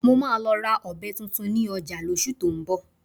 Mo máa lọ ra ọ̀bẹ tuntun ní ọjà lóṣù tó ń bọ̀